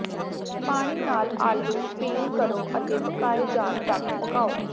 ਪਾਣੀ ਨਾਲ ਆਲੂ ਪੀਲ ਕਰੋ ਅਤੇ ਪਕਾਏ ਜਾਣ ਤੱਕ ਪਕਾਉ